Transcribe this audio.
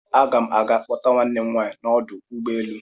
Aga n aga kpọta nwanne m nwaanyị n'ọdụ ụgbọelu.